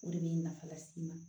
O de bɛ nafa las'i ma